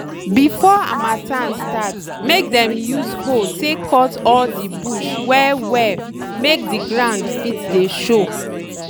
before harmattan start make dem use hoe take cut all de bush well well make de ground fit dey show.